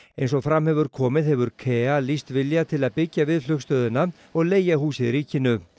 eins og fram hefur komið hefur KEA lýst vilja til að byggja við flugstöðina og leigja húsið ríkinu